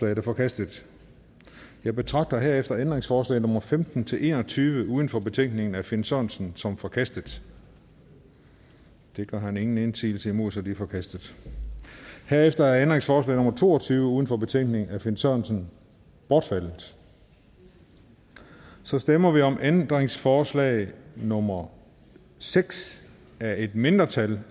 er forkastet jeg betragter herefter ændringsforslag nummer femten til en og tyve uden for betænkningen af finn sørensen som forkastet det gør han ingen indsigelse imod så de er forkastet herefter er ændringsforslag nummer to og tyve uden for betænkningen af finn sørensen bortfaldet så stemmer vi om ændringsforslag nummer seks af et mindretal